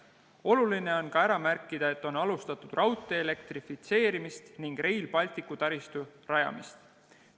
Oluline on ka ära märkida, et on alustatud raudtee elektrifitseerimist ning Rail Balticu taristu rajamist.